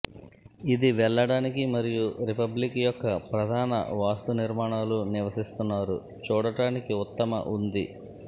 ఇది వెళ్ళడానికి మరియు రిపబ్లిక్ యొక్క ప్రధాన వాస్తు నిర్మాణాలు నివసిస్తున్నారు చూడటానికి ఉత్తమ ఉంది